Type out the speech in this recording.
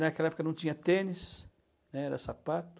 Naquela época não tinha tênis, né, era sapato.